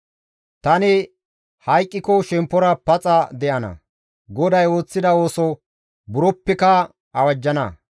Tani hayqqike shemppora paxa de7ana; GODAY ooththida ooso buroppeka awajjana.